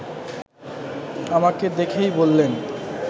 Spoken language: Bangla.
আমাকে দেখেই বললেন